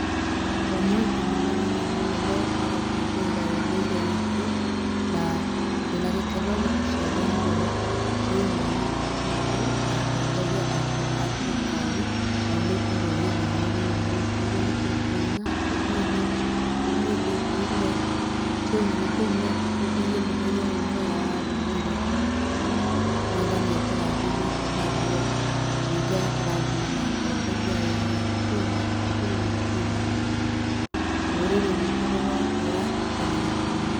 Ũmũthĩ nĩ mũthenya mũnene wa gũkũngũĩra ũndũĩre witũ, na twĩna gĩkeno nĩ tũcereirwo nĩ ũmwe witũ, wa atongoria aitũ a thirikari, na aumĩte rũrĩrĩ-inĩ rũrũ rwitũ. Ũguo nĩ tũkũina tũthiĩ thĩ, tũthiĩ thĩ, tũine nĩ tũine, tũkũngũiye mũthenya ũyũ mwega wa rũrĩrĩ, Mwathani atũrathimĩte naguo, ningĩ agatũrathima na atongoria ega, nĩ tũine, nĩ tũine, nĩ tũine. Rũrĩrĩ rwitũ rũrotũra tene na tene.